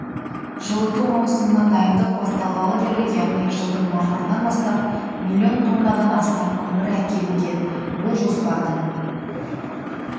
жылыту маусымына дайындық басталғалы бері яғни жылдың мамырынан бастап млн тоннадан астам көмір әкелінген бұл жоспардың